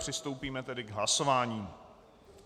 Přistoupíme tedy k hlasování.